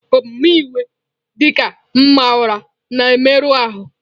Omume iwe, dị ka ịma ụra, na-emerụ ahụ.